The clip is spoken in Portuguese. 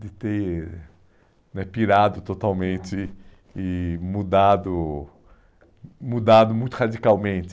De ter né pirado totalmente e mudado mudado muito radicalmente.